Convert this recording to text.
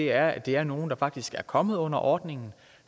er at der er nogle der faktisk er kommet ind under ordningen og